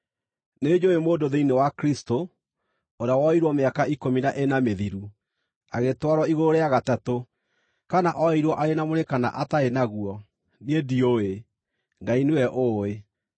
Nĩnjũũĩ mũndũ thĩinĩ wa Kristũ, ũrĩa woirwo mĩaka ikũmi na ĩna mĩthiru, agĩtwarwo igũrũ rĩa gatatũ. Kana oirwo arĩ na mwĩrĩ kana atarĩ naguo, niĩ ndiũĩ, Ngai nĩwe ũũĩ.